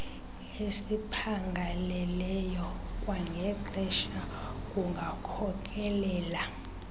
esiphangaleleyo kwangexesha kungakhokelela